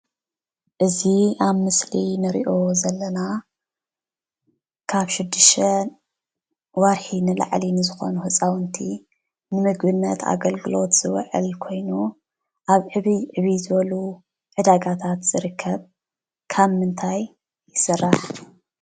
እዚ ኣብ ምስሊ እንሪኦ ዘለና ካብ ሽዱሽተ ወርሒ ንላዕሊ ንዝኾኑ ህፃዉንቲ ንምግብነት ኣገልግሎት ዝዉዕል ኮይኑ ኣብ ዕብይ ዕብይ ዝበሉ ዕዳጋታት ዝርከብ ካብ ምንታይ ይስራሕ?